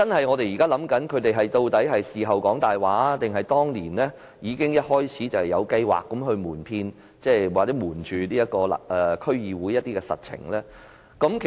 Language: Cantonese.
我們懷疑究竟政府是事後說謊，還是當年一開始已有計劃瞞騙或對區議會隱瞞實情？